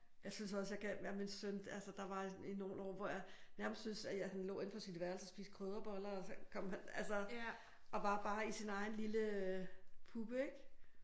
Jeg synes også jeg kan med min søn altså der var nogle år hvor jeg bare synes han nærmest lå inde på sit værelse og spiste krydderboller og så kom han altså og var bare i sin egen lille puppe ik